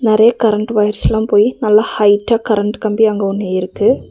நெறையா கரண்ட்டு ஒயர்ஸ்லா போய் நல்லா ஹைட்டா கரண்ட்டு கம்பி அங்க ஒன்னு இருக்கு.